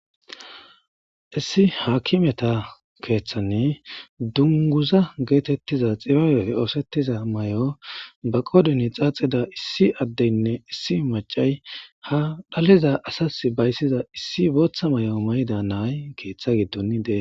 Issi hakimeta kethani dunguza getetiza xibabe osetiza mayo ba qoren xaxida issi adenne issi mac'ay ha dhaleza asas bayziza issi botha mayo mayida issi nay ketha gidon des.